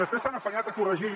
després s’han afanyat a corregir